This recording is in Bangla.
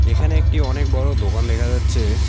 এখানে একটি অনেক বড় দোকান দেখা যাচ্ছে।